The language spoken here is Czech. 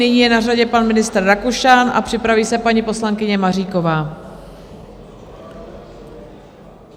Nyní je na řadě pan ministr Rakušan a připraví se paní poslankyně Maříková.